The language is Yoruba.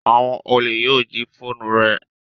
Awon ole yoo ji foonu re